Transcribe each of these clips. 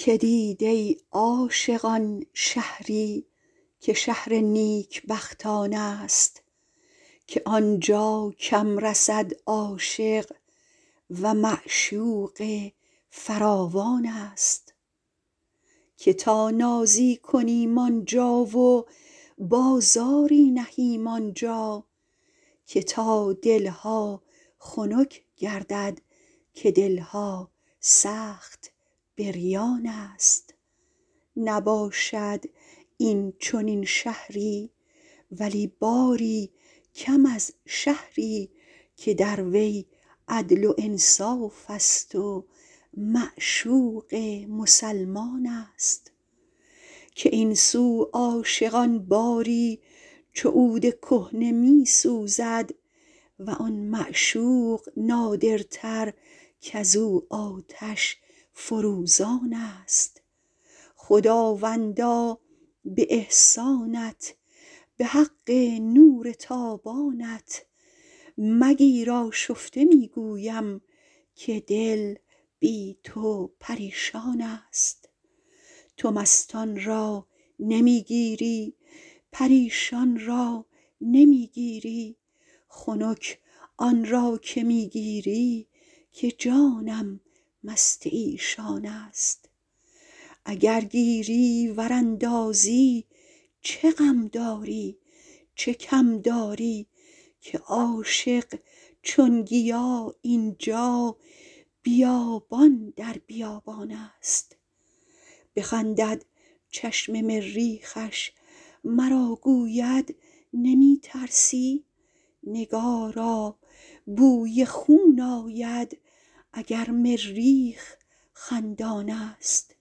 که دید ای عاشقان شهری که شهر نیکبختانست که عاشق کم رسد آنجا و معشوقش فراوانست که تا نازی کنیم آن جا و بازاری نهیم آن جا که تا دل ها خنک گردد که دل ها سخت بریانست نباشد این چنین شهری ولی باری کم از شهری که در وی عدل و انصافست و معشوق مسلمانست که این سو عاشقان باری چو عود کهنه می سوزد و آن معشوق نادرتر کز او آتش فروزانست خداوندا به احسانت به حق لطف و اکرامت مگیر آشفته می گویم که جان بی تو پریشانست تو مستان را نمی گیری پریشان را نمی گیری خنک آن را که می گیری که جانم مست ایشانست اگر گیری ور اندازی چه غم داری چه کم داری که عاشق هر طرف این جا بیابان در بیابانست بخندد چشم مریخش مرا گوید نمی ترسی نگارا بوی خون آید اگر مریخ خندانست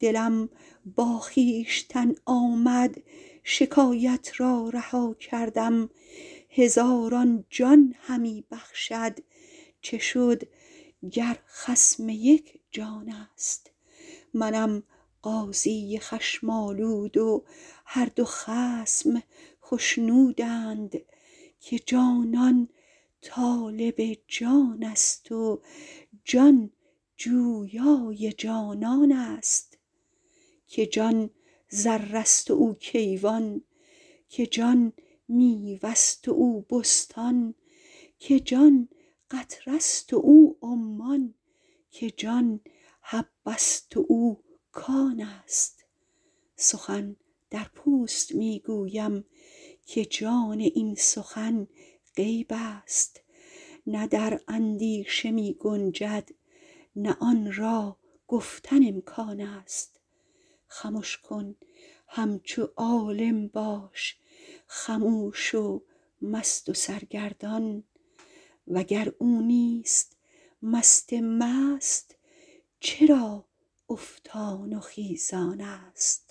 دلم با خویشتن آمد شکایت را رها کردم هزاران جان همی بخشد چه شد گر خصم یک جانست منم قاضی خشم آلود و هر دو خصم خشنودند که جانان طالب جانست و جان جویای جانانست که جان ذره ست و او کیوان که جان میوه ست و او بستان که جان قطره ست و او عمان که جان حبه ست و او کانست سخن در پوست می گویم که جان این سخن غیبست نه در اندیشه می گنجد نه آن را گفتن امکانست خمش کن همچو عالم باش خموش و مست و سرگردان وگر او نیست مست مست چرا افتان و خیزانست